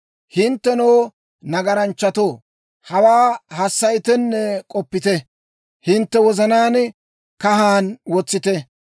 «Hinttenoo nagaranchchatoo, hawaa hassayitenne k'oppite; hintte wozanaan kahan wotsite.